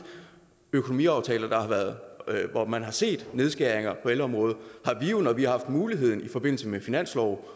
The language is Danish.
økonomiaftaler hvor man har set nedskæringer på ældreområdet når vi har haft muligheden i forbindelse med finanslove